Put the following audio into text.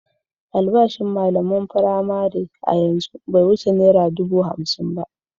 Albashin malaman firamare a yanzu bai wuce naira dubu hamsin ba.